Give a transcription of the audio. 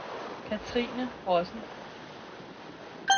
Kathrine Rossen